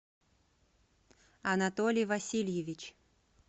анатолий васильевич